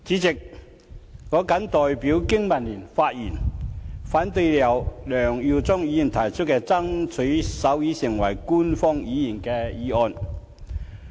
代理主席，我代表香港經濟民生聯盟發言，反對由梁耀忠議員提出的"爭取手語成為香港官方語言"議案。